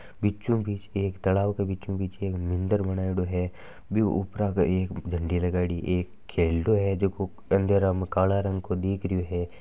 बीचो बिच तालाब के बीचो बिच एक मंदिर बनायेड़ो है उपरा के एक झंडी लगायेड़ी है एक खेलडो है जको अंधरे में कालो दिख रो है।